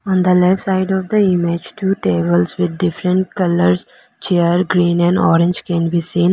on the left side of the image two tables with different colours chair green and orange can be seen.